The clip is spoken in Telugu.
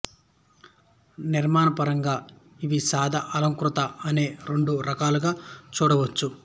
నిర్మాణపరంగా ఇవి సాదా అలంకృత అనే రెండు వర్గాలుగా చూడవచ్చు